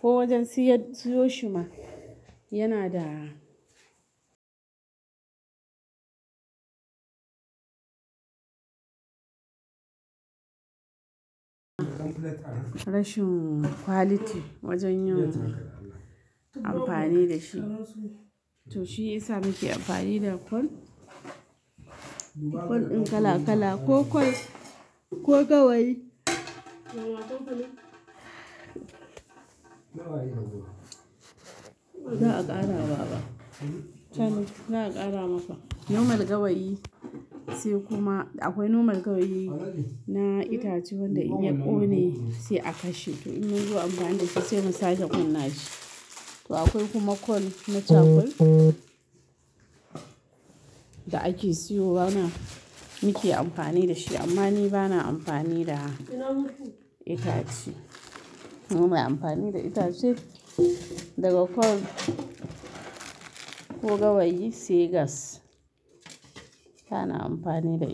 Ko wajen siyar, siyo shi ma yana da rashin quality wajen yin amfani da shi. To shi isa muke amfani da kwal. Kwal din kala kala ko kwal, ko gawayi. Za a ƙara baba. Za a ƙara maka. Normal gawayi sai kuma akwai norma gawayi na itace wanda in ya ƙone sai a kashe. To in yazo a amfani da shi sai musake kunna shi. To akwai kuma kwal, na charcoal da ake siyo mana, muke amfani da shi. Amma ni bana amfani da itace. Ni bana amfani da itace daga kwal ko gawayi, sai gas. Kana amfani da-